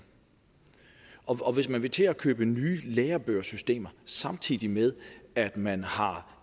og hvis man vil til at købe nye lærebogsystemer samtidig med at man har